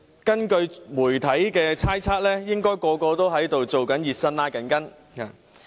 根據媒體猜測，應該都在"熱身"、"拉筋"。